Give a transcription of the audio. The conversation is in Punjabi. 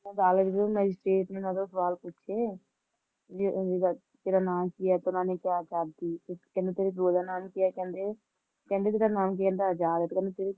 ਕਾਲਜ ਗਏ, ਮੈਜਿਸਟ੍ਰੇਟ ਨੇ ਓਹਨਾਂ ਤੋਂ ਸਵਾਲ ਪੁੱਛੇ ਕਿ ਤੇਰਾ ਨਾਂ ਕੀ ਹੈ ਤਾਂ ਕਹਿੰਦੇ ਚੰਦਰ ਸ਼ੇਖਰ ਆਜ਼ਾਦ ਤੇ ਕਹਿੰਦੇ ਤੇਰੇ ਪਿਓ ਦਾ ਨਾਂ ਕਿ ਹੈ ਕਹਿੰਦੇ, ਕਹਿੰਦੇ ਤੇਰਾ ਨਾਂ ਕੀ ਹੈ ਕਹਿੰਦੇ ਆਜ਼ਾਦ